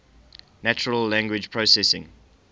natural language processing